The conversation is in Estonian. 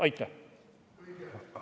Aitäh!